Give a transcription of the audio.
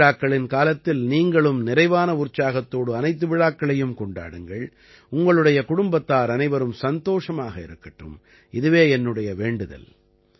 திருவிழாக்களின் காலத்தில் நீங்களும் நிறைவான உற்சாகத்தோடு அனைத்து விழாக்களையும் கொண்டாடுங்கள் உங்களுடைய குடும்பத்தார் அனைவரும் சந்தோஷமாக இருக்கட்டும் இதுவே என்னுடைய வேண்டுதல்